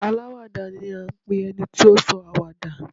Aláwàdà ni à ń pe ẹni tí ó sọ àwàdà.